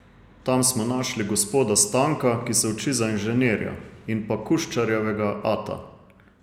Tam smo našli gospoda Stanka, ki se uči za inženirja, in pa Kuščarjevega ata.